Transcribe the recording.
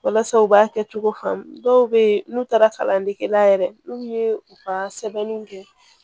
Walasa u b'a kɛ cogo faamu dɔw bɛ n'u taara kalandege la yɛrɛ n'u ye u ka sɛbɛnniw kɛ